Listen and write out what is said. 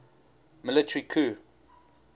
military coup